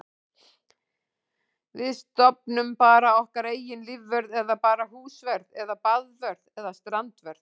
Við stofnum bara okkar eigin lífvörð eða bara húsvörð eða baðvörð eða strandvörð.